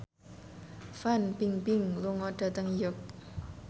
Fan Bingbing lunga dhateng York